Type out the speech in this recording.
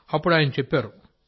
అప్పుడు ఆయన చెప్పారు